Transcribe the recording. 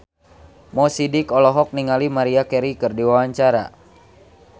Mo Sidik olohok ningali Maria Carey keur diwawancara